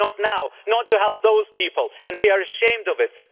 Maybe not now, not to help those people and we are ashamed of it.